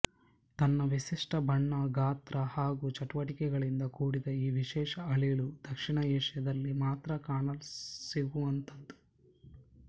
ತನ್ನ ವಿಶಿಷ್ಟ ಬಣ್ಣ ಗಾತ್ರ ಹಾಗು ಚಟುವಟಿಕೆಗಳಿಂದ ಕೂಡಿದ ಈ ವಿಶೇಷ ಅಳಿಲು ದಕ್ಷಿಣ ಏಷ್ಯಾದಲ್ಲಿ ಮಾತ್ರ ಕಾಣಸಿಗುವಂತದ್ದು